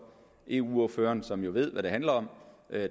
eu ordføreren som jo ved hvad det handler om